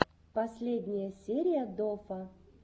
последняя серия дофа